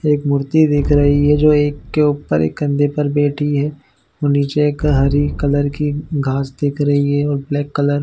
एक मूर्ति दिख रही है जो एक के ऊपर कंधे पर बैठी है और नीचे एक हरी कलर की घास दिख रही है और ब्लैक कलर --